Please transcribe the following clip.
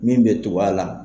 Min bɛ tugu a la.